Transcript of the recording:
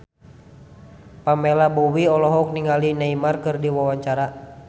Pamela Bowie olohok ningali Neymar keur diwawancara